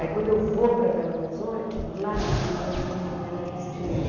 Aí quando eu vou para Belo Horizonte, lá eu entro no movimento da anistia.